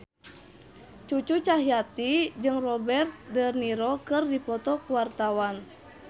Cucu Cahyati jeung Robert de Niro keur dipoto ku wartawan